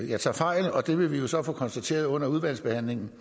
jeg tager fejl og det vil vi jo så få konstateret under udvalgsbehandlingen